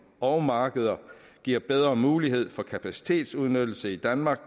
og markeder giver bedre mulighed for kapacitetsudnyttelse i danmark